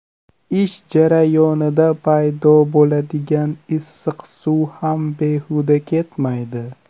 Ish jarayonida paydo bo‘ladigan issiq suv ham behuda ketmaydi.